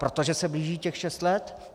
Protože se blíží těch šest let?